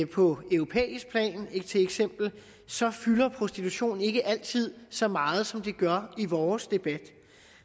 på europæisk plan så fylder prostitution ikke altid så meget som det gør i vores debat